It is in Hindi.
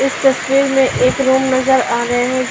इस तस्वीर में एक रूम नजर आ रहे हैं।